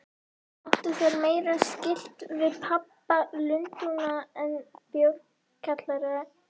Áttu þær meira skylt við pöbba Lundúna en bjórkjallara í